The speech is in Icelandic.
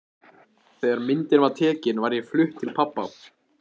Þegar myndin var tekin var ég flutt til pabba.